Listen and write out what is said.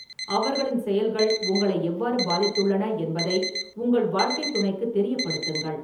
அவர்களின் செயல்கள் உங்களை எவ்வாறு பாதித்துள்ளன என்பதை உங்கள் வாழ்க்கைத் துணைக்குத் தெரியப்படுத்துங்கள்.